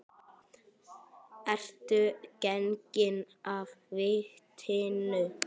Ertu genginn af vitinu?